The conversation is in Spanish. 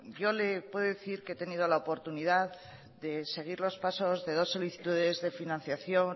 yo le puedo decir que he tenido la oportunidad de seguir los pasos de dos solicitudes de financiación